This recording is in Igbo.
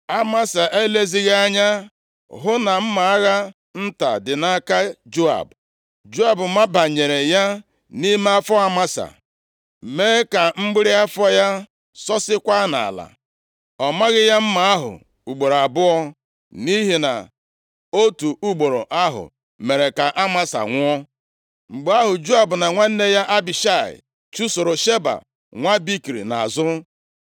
Amasa elezighị anya hụ na mma agha nta dị nʼaka Joab. Joab mabanyere ya nʼime afọ Amasa, mee ka mgbịrị afọ ya sọsikwaa nʼala. Ọ maghị ya mma ahụ ugboro abụọ, nʼihi na otu ugboro ahụ mere ka Amasa nwụọ. Mgbe ahụ, Joab na nwanne ya Abishai chụsoro Sheba nwa Bikri nʼazụ.